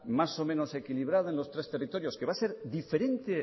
más o menos equilibrada en los tres territorios que va a ser diferente